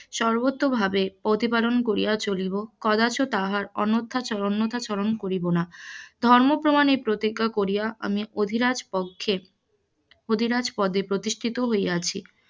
সর্বত্রভাবে প্রতিপালন করিয়া চলিব, কদাচ তাহার অন্যথা অন্যথাচরণ করিব না, ধর্ম প্রমাণে এই প্রতিজ্ঞা করিয়া এই অধিরাজ পক্ষে অধিরাজ পদে প্রতিষ্ঠিত হইয়াছি,